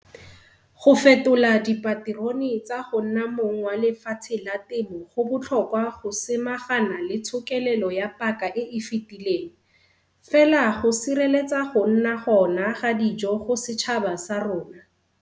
Go fetola dipaterone tsa go nna mong wa lefatshe la temo go botlhokwa go samagana le tshokelelo ya paka e e fetileng, fela go sireletsa go nna gona ga dijo go setšhaba sa rona.